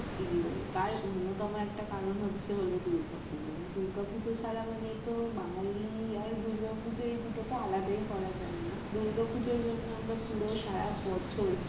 প্রিয় তার অন্যতম একটা কারন হচ্ছে হল দুর্গাপুজো, দুর্গাপুজো ছারা মানে তো বাঙালি আর দুর্গাপুজো এই দুটোকে তো আলাদাই করা যায় না দুর্গাপুজোর জন্য আমরা পুরো সারা বছর